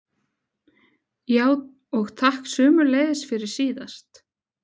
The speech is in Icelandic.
. já, og takk sömuleiðis fyrir síðast.